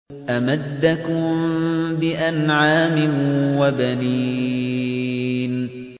أَمَدَّكُم بِأَنْعَامٍ وَبَنِينَ